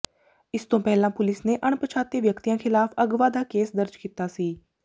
ਇਸ ਤੋਂ ਪਹਿਲਾਂ ਪੁਲੀਸ ਨੇ ਅਣਪਛਾਤੇ ਵਿਅਕਤੀਆਂ ਖ਼ਿਲਾਫ਼ ਅਗਵਾ ਦਾ ਕੇਸ ਦਰਜ ਕੀਤਾ ਸੀ